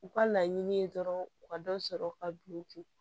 U ka laɲini ye dɔrɔn u ka dɔ sɔrɔ u ka du kun